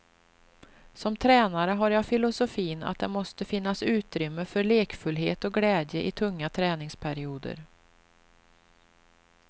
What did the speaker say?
Som tränare har jag filosofin att det måste finnas utrymme för lekfullhet och glädje i tunga träningsperioder.